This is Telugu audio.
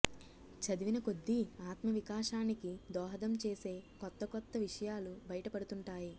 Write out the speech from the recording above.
చదివిన కొద్దీ ఆత్మవికాసానికి దోహదం చేసే కొత్త కొత్త విషయాలు బయట పడుతుంటాయి